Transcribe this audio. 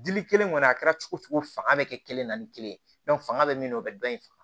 Dili kelen kɔni a kɛra cogo o cogo fanga bɛ kɛ kelen na ni kelen ye fanga bɛ min na o bɛ dɔ in faga